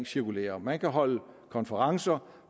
cirkulærer man kan holde konferencer